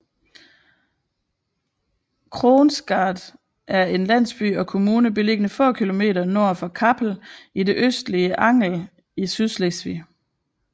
Kronsgaard er en landsby og kommune beliggende få kilometer nord for Kappel i det østlige Angel i Sydslesvig